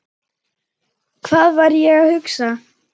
Hvað var ég að hugsa?